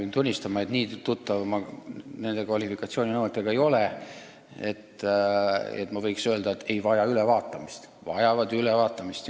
Pean tunnistama, et nii tuttav ma nende kvalifikatsiooninõuetega ei ole, et võiksin öelda, et need ei vaja ülevaatamist või vajavad ülevaatamist.